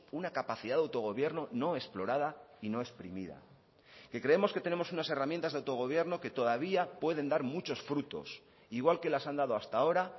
una capacidad de autogobierno no explorada y no exprimida que creemos que tenemos unas herramientas de autogobierno que todavía pueden dar muchos frutos igual que las han dado hasta ahora